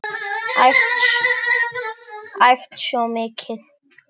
Æft svo mikið.